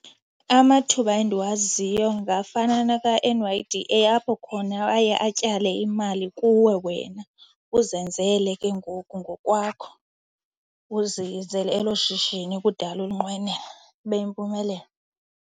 Amathuba endiwaziyo ngafana naka-N_Y_D_A, apho khona aye atyale imali kuwe wena uzenzele ke ngoku ngokwakho, uzenzele elo shishini kudala ulinqwenela ibe yimpumelelo.